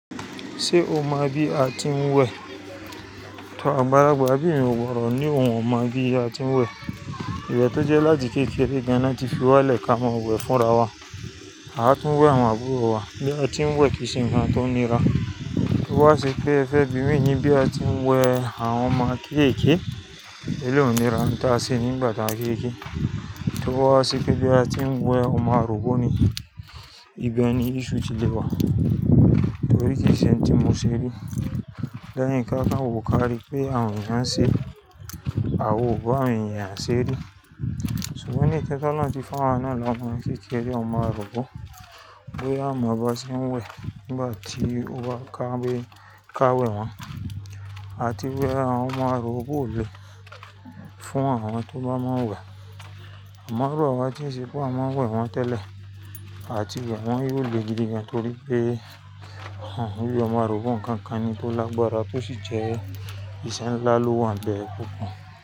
Ṣé o mọ bí a ti ń wẹ̀? Agbalagba bi emi ò gbọ́do ní òun ò mọ̀ bí a ti ń wẹ̀. Ìwẹ̀ tó jẹ́ láti kékeré gan na tí fi wá lè ká máa wẹ̀ fúnra wa. Àá tún wẹ̀ àwọn àbúrò wa bí a ti ń wẹ̀ kìí ṣe nkan tó nira. Ó wá sí pé ẹfe bimi ni bí a ti ń wẹ̀ àwọn ọmọ kékeke, èló nira ń tà á se nígbà tá a kéke. Toba wá se pé bí a ti ń wẹ̀ ọmọ àrobo ni ìbeun ni issue ti lewà. Torí kì í ṣe ohun tí mo ṣe ri. Leyin ká kán wo kárí pé àwọn èèyàn ṣé, àwa ò bá àwọn èèyàn ṣe ri. Ṣùgbọ́n ní technology náà tí fún wa náà ló mú kí kí ẹ ní ọmọ àrobo. Bí à mọ̀ ọba ṣe ń wẹ̀ nígbà tí ó bá kábéyín ká wẹ̀ wọ́n. A ti wẹ̀ àwọn ọmọ àrobo lè fún àwọn tó bá mọ wà Àmò irun a wa ti ń ṣe pé à wọ́n wẹ̀ wọ́n tẹ́lẹ̀, à ti wẹ̀ wọ́n yóò le gidi gan-an torí pé à wù bí ọmọ àrùgbó ń kankan ni tó lágbára tó sì jẹ ìṣe ńlá ló wọ̀n bẹ́ẹ̀ pup.